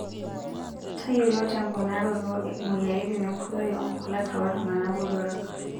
Tayiolo temponaroto moyiaritin enkoitoi oonkulak tooltung'ana botorok.